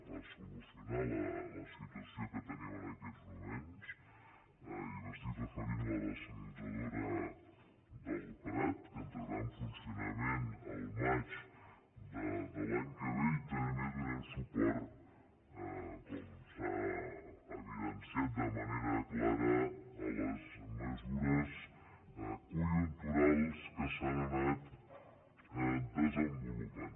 per solucionar la situació que tenim en aquests moments i m’estic referint a la dessaladora del prat que entrarà en funcionament al maig de l’any que ve i també donem suport com s’ha evidenciat de manera clara a les mesures conjunturals que s’han anat desenvolupant